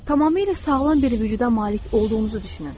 Tamamilə sağlam bir vücuda malik olduğunuzu düşünün.